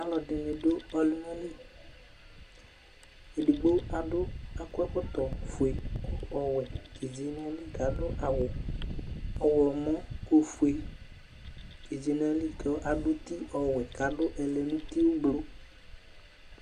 alʋɛdini dʋ ɔlʋna li, ɛdigbɔ adʋ akɔ ɛkɔtɔ ƒʋɛ, ɔwɛ dɛdzi nʋ ayili kʋ adʋ awʋ ɔwlɔmɔ ɔƒʋɛ di dzi nʋ ali kʋ adʋ ɛdi nʋ ʋti ɔblɔ